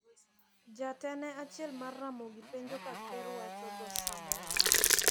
Jatene achiel mar Ramogi penjo ka ker wacho dhoo Samoa.